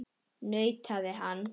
nauðar hann.